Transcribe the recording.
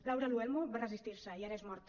laura luelmo va resistir se i ara és morta